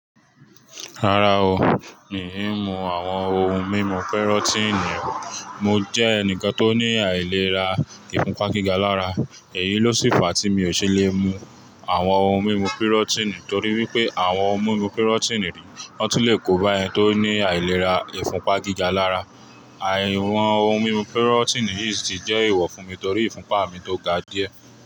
Rárá o, mi ò mú àwọn ohun mímu pírọ́tíìnì. Mo jẹ́ ẹnìkan tó ní àìlera ìfúnpá gíga lára, èyí ló sì fa tí mi ò ṣe le mu àwọn ohun mímu pírọ́tíìnì torí wípé àwọn ohun mímu pírọ́tíìnì rí, wọ́n lè kóba ẹni tó ní àìlera ìfúnpá gíga lára. Àìwọ̀n ohun mímu pírọ́tíìnì yìí sì jẹ́ ìwọ fún mi torí ìfúnpá mi tó ga díẹ̀.